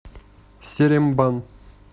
серембан